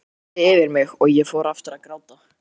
Það þyrmdi yfir mig og ég fór aftur að gráta.